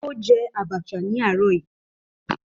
Ó jẹ Abacha ní àárọ̀ yìí